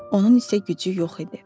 Onun isə gücü yox idi.